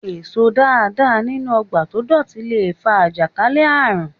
Èso dáadáa nínú ọjà tó dọ̀tí le fa àjàkálẹ̀ àrùn.